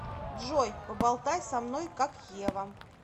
джой поболтай со мной как ева